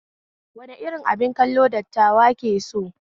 Wani irin abin kallo dattawa ke so?